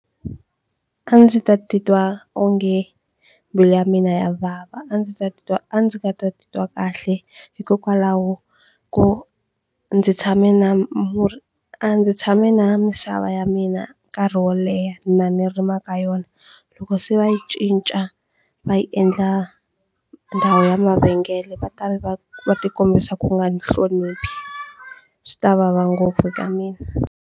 A ndzi ta titwa onge mbilu ya mina ya vava a ndzi ta titwa a ndzi nga ta titwa kahle hikokwalaho ko ndzi tshame na murhi a ndzi tshame na misava ya mina nkarhi wo leha na ni rima ka yona loko se va yi cinca va yi endla ndhawu ya mavhengele va ta va va tikombisa ku nga ni hloniphi swi ta vava ngopfu eka mina.